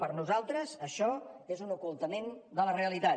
per nosaltres això és un ocultament de la realitat